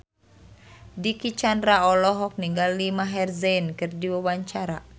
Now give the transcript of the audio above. Dicky Chandra olohok ningali Maher Zein keur diwawancara